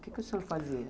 O que o senhor fazia?